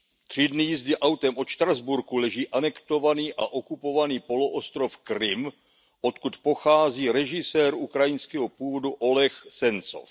Tři dny jízdy autem od Štrasburku leží anektovaný a okupovaný poloostrov Krym, odkud pochází režisér ukrajinského původu Oleh Sencov.